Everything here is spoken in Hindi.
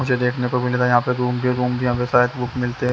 मुझे देखने को मिला था यहाँ पे रूम भी रोम भी शायद बुक मिलते हैं।